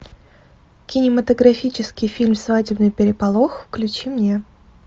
кинематографический фильм свадебный переполох включи мне